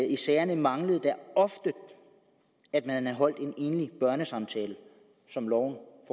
i sagerne manglede at man havde holdt en enlig børnesamtale som loven